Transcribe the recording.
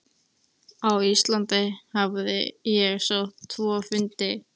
Á Íslandi hafði ég sótt tvo fundi.